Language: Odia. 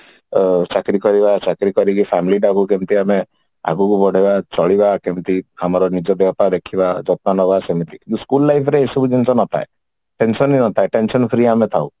ଚାକିରି କରିବା ଚାକିରି କରିକି family ଟାକୁ କେମିତି ଆମେ ଆଗକୁ ବଢେଇବା ଚାଲିବ ଆମର ଦେହ ପାହା ରଖିବା ଯତ୍ନ ନବା ସେମତି school life ଏସବୁ ଜିନିଷ ନଥାଏ tension ହିଁ ନଥାଏ tension free ଆମେ ଥାଉ